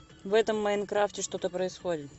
в этом майнкрафте что то происходит